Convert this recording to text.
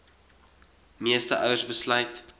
meeste ouers besluit